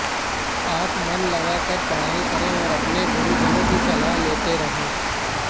आप मन लगाकर पढ़ाई करें और अपने गुरुजनों की सलाह लेते रहें